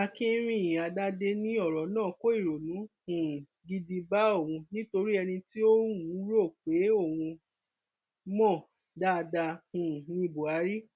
akinrínádádé ní ọrọ náà kó ìrònú um gidi bá òun nítorí ẹni tí òun rò pé òun mọ dáadáa um ní buhari